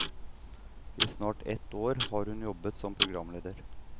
I snart et år har hun jobbet som programleder.